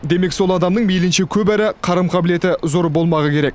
демек сол адамның мейлінше көп әрі қарым қабілеті зор болмағы керек